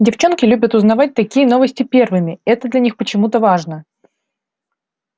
девчонки любят узнавать такие новости первыми это для них почему-то важно